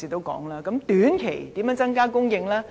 如何在短期內增加供應呢？